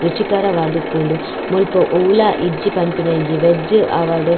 ರುಚಿಕರ ವಾದುಪ್ಪುಂಡು ಮುಲ್ಪ ಒವ್ಲ ಇಜ್ಜಿ ಪನ್ಪಿನ ಇಜ್ಜಿ ವೆಜ್ ಆವಡ್.